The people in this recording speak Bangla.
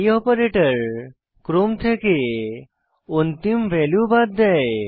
এই অপারেটর ক্রম থেকে অন্তিম ভ্যালু বাদ দেয়